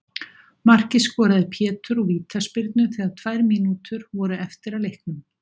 Markið skoraði Pétur úr vítaspyrnu þegar tvær mínútur voru eftir af leiknum.